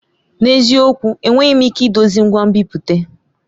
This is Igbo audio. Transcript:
N'eziokwu! Enweghị m ike idozi ngwa nbipute.